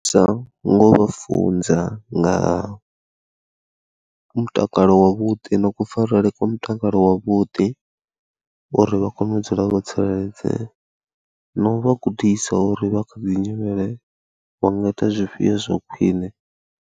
Sa nga u vha funza nga ha mutakalo wavhuḓi na kufarele kwa mutakalo wavhuḓi uri vha kone u dzula vho tsireledzea na u vha gudisa uri vha kha ḓi nyimele wa nga ita zwifhio zwa khwine.